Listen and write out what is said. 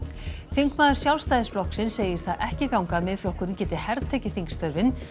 þingmaður Sjálfstæðisflokks segir það ekki ganga að Miðflokkurinn geti hertekið þingstörfin